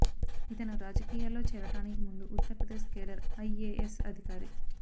ఇతను రాజకీయాల్లో చేరడానికి ముందు ఉత్తర్ ప్రదేశ్ కేడర్ ఐఎఎస్ అధికారి